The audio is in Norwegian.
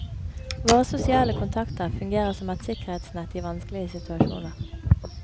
Våre sosiale kontakter fungerer som et sikkerhetsnett i vanskelige situasjoner.